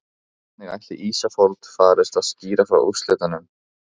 Hvernig ætli Ísafold farist að skýra frá úrslitunum?